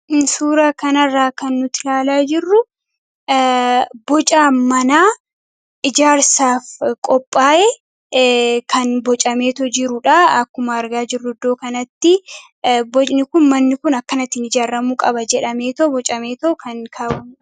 Suuraa kanarraa kan nuti ilaalaa jirru boca mana ijaarsaaf qophaa'e kan bocameetoo jirudha . Akkuma argaa jirru iddoo kanatti bocni kun akkanatti ijaaramuu qabaa jedhamaeetoo bocameetoo kan kaawame.